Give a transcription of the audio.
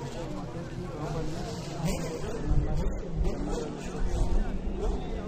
ore emodoki oo nkonyek naa keret iltungank lemedolisho pi